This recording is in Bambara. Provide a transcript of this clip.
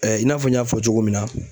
i n'a fɔ n y'a fɔ cogo min na